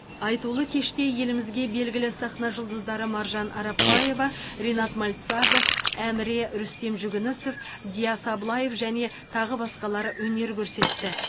айтулы кеште елімізге белгілі сахна жұлдыздары маржан арапбаева ринат мальцагов әміре рүстем жүгінісов диас аблаев және тағы басқалар өнер көрсетті